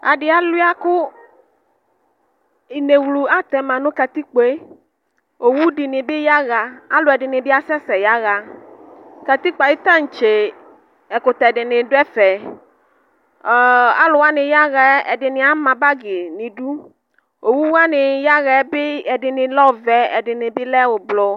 Adi alia kʋ inewlu atɛma nʋ katijpoe owʋ dini bi yaxa kʋ alʋɛdini bi yaxa katikpo yɛ ayʋ tantse ɛkʋtɛ duni dʋ ɛfɛ alʋ wani yaxa yɛ ɛdini ama bagi nʋ idʋ owʋ wani yaxɛbi ɛdini lɛ ɔvɛ ɛdini bilɛ ʋblɔ